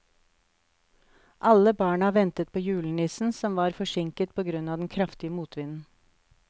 Alle barna ventet på julenissen, som var forsinket på grunn av den kraftige motvinden.